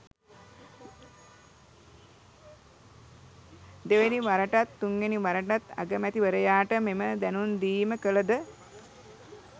දෙවැනි වරටත් තුන්වැනි වරටත් අගමැතිවරයාට මෙම දැනුම් දීම කළද